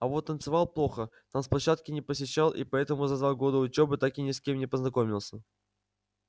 а вот танцевал плохо танцплощадки не посещал и поэтому за два года учёбы так ни с кем и не познакомился